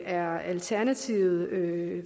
er alternativet